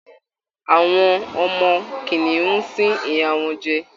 Àwọ ọmọ kìnìún ń sín ìyá wọnjẹ